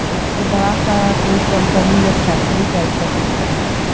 एक बड़ा सा कोई कंपनी या फैक्ट्री टाइप का दिख रहा है।